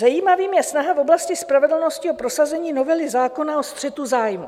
Zajímavou je snaha v oblasti spravedlnosti o prosazení novely zákona o střetu zájmů.